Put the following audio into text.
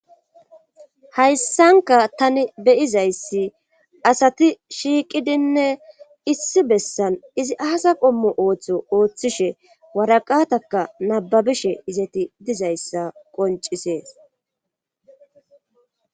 Hayssanka tani beyizayssi asati shiiqidinne issi bessan izi aasa qommo ooththo ooththishe waraqataka nababishe izati dizayssa qoncisees